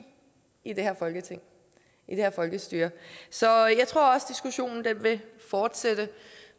i det her folkestyre så jeg tror også diskussionen vil fortsætte